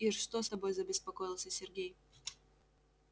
ир что с тобой забеспокоился сергей